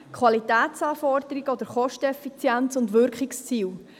Qualitätsanforderungen, Kosteneffizienz und Wirkungsziele.